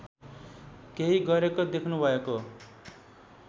केही गरेको देख्नुभएको